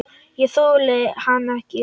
Ég þoldi hann ekki.